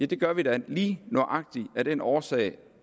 det gør vi da lige nøjagtig af den årsag